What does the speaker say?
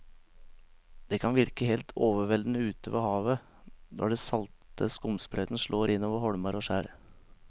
Det kan virke helt overveldende ute ved havet når den salte skumsprøyten slår innover holmer og skjær.